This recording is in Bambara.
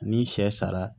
Ni sɛ sara